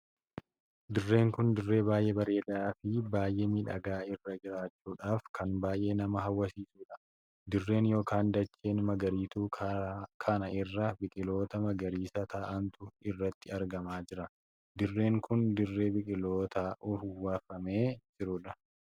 Dirreen kun dirree baay'ee bareedaa fi baay'ee miidhagaa irra jiraachuudhaaf kan baay'ee nama hawwachiisuudha. dirreen ykn dacheen magaariitu kana irra biqiloota magariisa taa'antu irratti argamaa jira. dirreen kun dirree biqilootaan uwwufamtee jirtudha.